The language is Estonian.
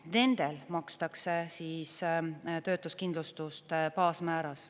Nendele makstakse töötuskindlustust baasmääras.